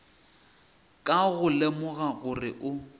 ka go lemoga gore o